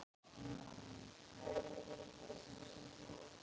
Meira Suð!